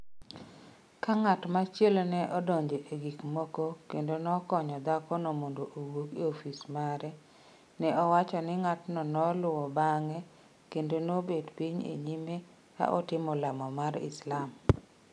Ka ng’at machielo ne odonjo e gik moko kendo nokonyo dhakono mondo owuok e ofis mare, ne owach ni ng’atno noluwo bang’e kendo nobet piny e nyime ka otimo lamo mar Islam.